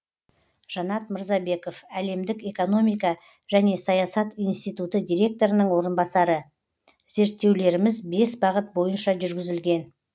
жанат мырзабеков әлемдік экономика және саясат институты директорының орынбасары зерттеулеріміз бес бағыт бойынша жүргізілген